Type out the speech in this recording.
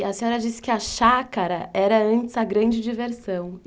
E a senhora disse que a chácara era antes a grande diversão.